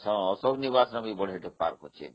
ଅଶୋକ ନିବସରେ ମଧ୍ୟ ଭଲ park ଅଛି